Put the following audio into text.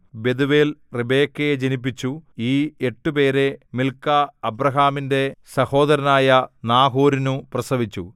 Bethuel റിബെക്കയെ ജനിപ്പിച്ചു ഈ എട്ടുപേരെ മിൽക്കാ അബ്രാഹാമിന്റെ സഹോദരനായ നാഹോരിനു പ്രസവിച്ചു